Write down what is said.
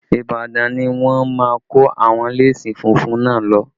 Ibadan ni wọ́n máa kó àwọn léèsì funfun náà lọ